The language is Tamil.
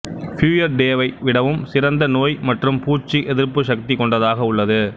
பியூயர்டேவை விடவும் சிறந்த நோய் மற்றும் பூச்சி எதிர்ப்புச் சக்தி கொண்டதாக உள்ளது